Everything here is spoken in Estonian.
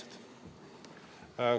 Aitäh!